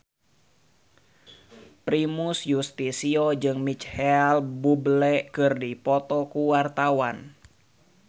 Primus Yustisio jeung Micheal Bubble keur dipoto ku wartawan